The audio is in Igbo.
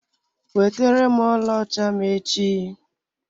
Weterem ọlaọcha m echi!